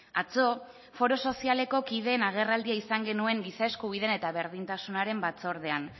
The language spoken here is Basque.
atzo foro sozialeko kideen agerraldia izan genuen giza eskubideen eta berdintasunaren batzordean